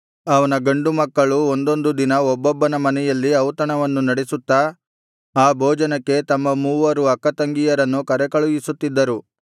ಅವನ ಗಂಡು ಮಕ್ಕಳು ಒಂದೊಂದು ದಿನ ಒಬ್ಬೊಬ್ಬನ ಮನೆಯಲ್ಲಿ ಔತಣವನ್ನು ನಡೆಸುತ್ತಾ ಆ ಭೋಜನಕ್ಕೆ ತಮ್ಮ ಮೂವರು ಅಕ್ಕತಂಗಿಯರನ್ನೂ ಕರೆಕಳುಹಿಸುತ್ತಿದ್ದರು